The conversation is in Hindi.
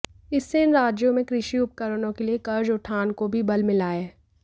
इससे इन राज्यों में कृषि उपकरणों के लिए कर्ज उठान को भी बल मिला है